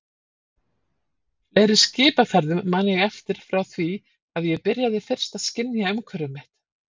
Fleiri skipaferðum man ég eftir frá því að ég byrjaði fyrst að skynja umhverfi mitt.